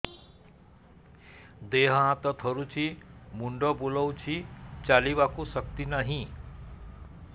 ଦେହ ହାତ ଥରୁଛି ମୁଣ୍ଡ ବୁଲଉଛି ଚାଲିବାକୁ ଶକ୍ତି ନାହିଁ